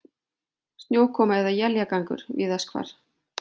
Snjókoma eða éljagangur víðast hvar